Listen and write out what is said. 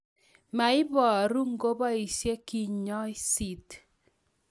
moiboru ngoboisiei kinyosit